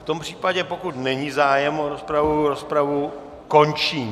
V tom případě, pokud není zájem o rozpravu, rozpravu končím.